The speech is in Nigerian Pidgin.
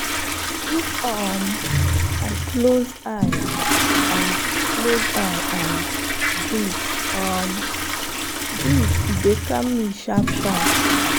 if um i close eye and close eye and breathe um deep e dey calm me sharp-sharp.